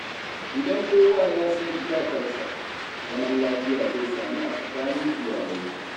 Idan kowa ya san iyakarsa, zaman lafiya zai samu a tsakanin iyalai.